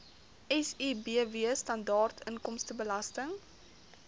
sibw standaard inkomstebelasting